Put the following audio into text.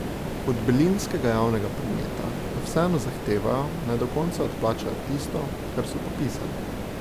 Od berlinskega javnega prometa pa vseeno zahtevajo, naj do konca odplača tisto, kar so podpisali.